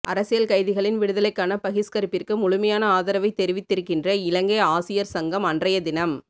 அரசியல் கைதிகளின் விடுதலைக்கான பகிஷ்கரிப்பிற்கு முழுமையான ஆதரவைத் தெரிவித்திருக்கின்ற இலங்கை ஆசியர் சங்கம் அன்றையதினம்